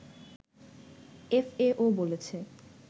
FAO বলছে